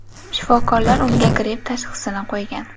Shifokorlar unga gripp tashxisini qo‘ygan.